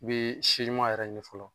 N bi si ɲuma yɛrɛ ɲini fɔlɔ.